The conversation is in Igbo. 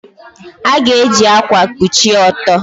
A ga-eji ákwà kpuchie ọtọ.